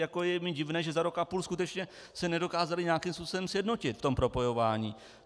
jako je mi divné, že za rok a půl skutečně se nedokázaly nějakým způsobem sjednotit v tom propojování.